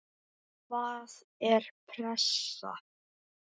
Hvaða er pressa?